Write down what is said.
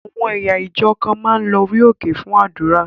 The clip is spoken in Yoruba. Àwọn ẹ̀yà ìjọ kan máa ń lo orí òkè fún àdúrà.